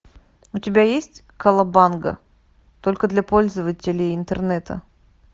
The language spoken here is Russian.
у тебя есть колобанга только для пользователей интернета